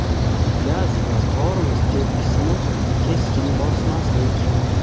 Gaz va tormoz tepkisini keskin bosmaslik;.